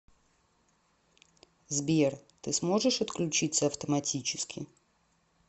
сбер ты сможешь отключиться автоматически